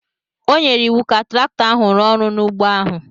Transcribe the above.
O nyere iwu ka traktọ ahụ rụọ ọrụ n’ugbo ahụ.